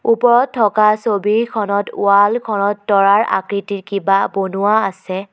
ওপৰত থকা ছবিখনত ওৱালখনত তৰাৰ আকৃতিৰ কিবা বনোৱা আছে।